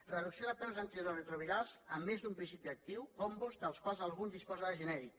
reducció de preus d’antiretrovirals amb més d’un principi actiu combos dels quals algun disposa de genèric